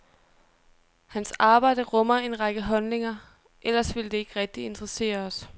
Hans arbejde rummer en række holdninger, ellers ville det ikke rigtig interessere os.